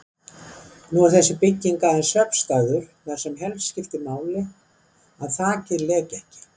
Nú er þessi bygging aðeins svefnstaður, þar sem helst skiptir máli að þakið leki ekki.